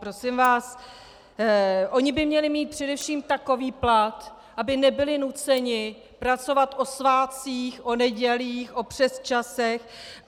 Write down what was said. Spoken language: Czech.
Prosím vás, oni by měli mít především takový plat, aby nebyli nuceni pracovat o svátcích, o nedělí, o přesčasech.